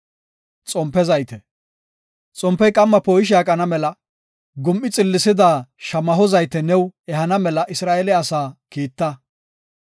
“Xompey qamma poo7ishe aqana mela gum7i xillisida shamaho zayte new ehana mela Isra7eele asaa kiita.